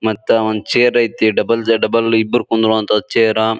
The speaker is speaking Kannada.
ಮತ್ತ ಒಂದು ಚೇರ್ ಐತಿ ಡಬಲ್ ಅ ಡಬಲ್ ಇಬ್ರು ಕುಂದ್ರು ಹಂತ ಚೇರ್ --